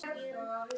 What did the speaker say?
Það er val.